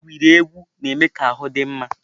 Igwuri egwu na-eme ka ahụ dị mma.